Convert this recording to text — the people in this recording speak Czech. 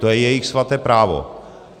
To je jejich svaté právo.